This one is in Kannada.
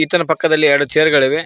ಈತನ ಪಕ್ಕದಲಿ ಎರಡು ಚೇರ್ ಗಳಿವೆ.